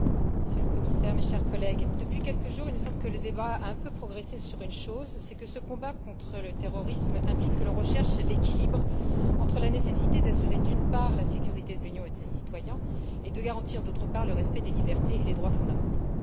Monsieur le Président, Monsieur le Commissaire, chers collègues, depuis quelques jours, il me semble que le débat a un peu progressé sur une chose ce combat contre le terrorisme implique que l'on recherche l'équilibre entre la nécessité d'assurer, d'une part, la sécurité de l'Union et de ses citoyens, et de garantir, d'autre part, le respect des libertés et des droits fondamentaux.